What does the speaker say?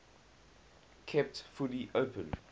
kept fully open